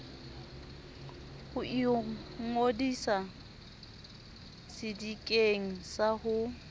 ho ingodisa sedikeng sa ho